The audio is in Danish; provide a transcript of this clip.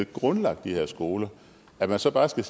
grundlagde de her skoler at man så bare skal